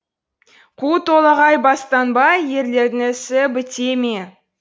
қу толағай бастанбай ерлердің ісі біте ме